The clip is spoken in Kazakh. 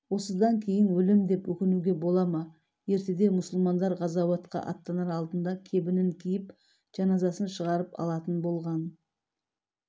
осыдан кейін өлем деп өкінуге бола ма ертеде мұсылмандар ғазауатқа аттанар алдында кебінін киіп жаназасын шығартып алатын болған